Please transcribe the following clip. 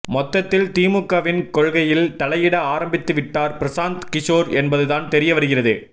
மொத்தத்தில் திமுகவின் கொள்கையில் தலையிட ஆரம்பித்து விட்டார் பிரசாந்த் கிஷோர் என்பதுதான் தெரியவருகிறது